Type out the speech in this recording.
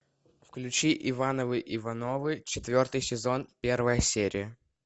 включи ивановы ивановы четвертый сезон первая серия